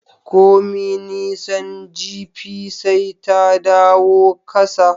Komi nisan jipi, sai ta dawo kasa